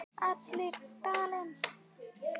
Allir í Dalinn!